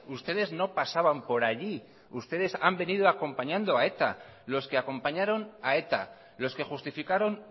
ustedes no pasaban por allí ustedes han venido acompañando a eta los que acompañaron a eta los que justificaron